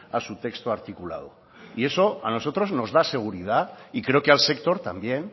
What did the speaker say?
a su texto articulado eso a nosotros nos da seguridad y creo que al sector también